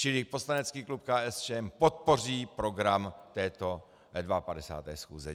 Čili poslanecký klub KSČM podpoří program této 52. schůze.